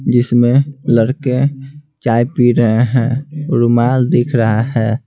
जिसमें लड़के चाय पी रहे हैं रुमाल दिख रहा है।